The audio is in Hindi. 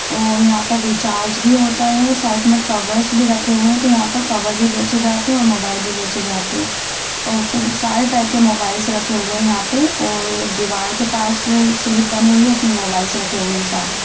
और यहां पर रिचार्ज भी होता है साइड में कवर्स भी रखे हुए हैं तो यहां पर कर भी बेचे जाते हैं और मोबाइल भी बेचे जाते हैं और सारे टाइप के मोबाइल से रखे हुए यहां पे और एक दीवाल के पास स्लिप बनी हुई है उसमें मोबाइल्स रखे हुए सारे।